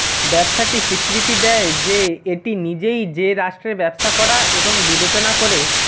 ব্যবসাটি স্বীকৃতি দেয় যে এটি নিজেই যে রাষ্ট্রে ব্যবসা করা এবং বিবেচনা করে